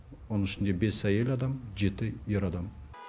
оның ішінде бес әйел адам жеті ер адам